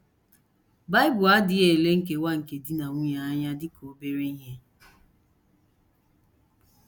Bible adịghị ele nkewa nke di na nwunye anya dị ka obere ihe.